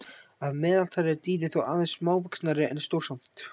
Að meðaltali eru dýrin þó aðeins smávaxnari en stór samt.